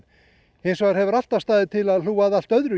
hins vegar hefur alltaf staðið til að hlúa að allt öðru